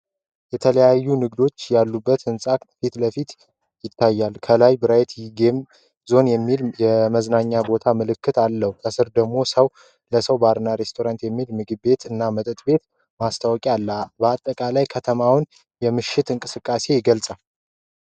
የተለያዩ ንግዶች ያሉበትን የሕንፃ ፊትለፊት ይገልጻል። ከላይ "ብራይት ጌም ዞን" የሚል የመዝናኛ ቦታ ምልክት አለው። ከስር ደግሞ "ሰዉ ለሰዉ ባር እና ሬስቶራንት" የሚል ምግብ ቤት እና መጠጥ ቤት ማስታወቂያ አለ። በአጠቃላይ የከተማውን የምሽት እንቅስቃሴ ይገልጻል።